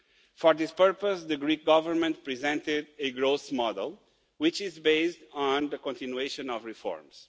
For this purpose the Greek Government presented a growth model which is based on the continuation of reforms.